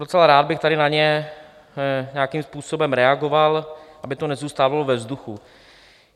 Docela rád bych tady na ně nějakým způsobem reagoval, aby to nezůstávalo ve vzduchu.